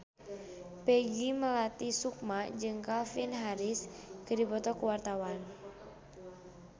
Peggy Melati Sukma jeung Calvin Harris keur dipoto ku wartawan